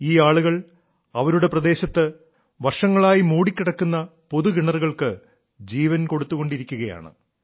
ഈ ആളുകൾ അവരുടെ പ്രദേശത്ത് വർഷങ്ങളായി മൂടിക്കിടക്കുന്ന പൊതുകിണറുകൾക്ക് ജീവൻ കൊടുത്തു കൊണ്ടിരിക്കുകയാണ്